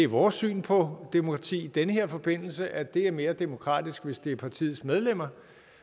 vores syn på demokrati i den her forbindelse at det er mere demokratisk hvis det er partiets medlemmer